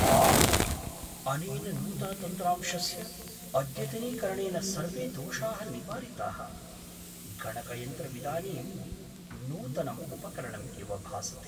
आह्, अनेन नूतनतन्त्रांशस्य अद्यतनीकरणेन सर्वे दोषाः निवारिताः। गणकयन्त्रमिदानीं नूतनं उपकरणम् इव भासते!